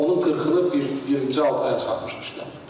Onun 40-ını bir, birinci altı aya çatdırmışıq.